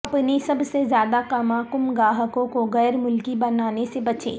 اپنے سب سے زیادہ کما کم گاہکوں کو غیر ملکی بنانے سے بچیں